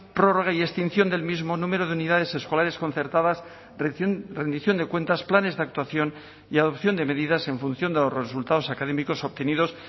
prórroga y extinción del mismo número de unidades escolares concertadas rendición de cuentas planes de actuación y adopción de medidas en función de los resultados académicos obtenidos